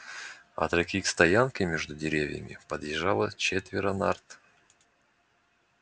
от реки к стоянке между деревьями подъезжало четверо нарт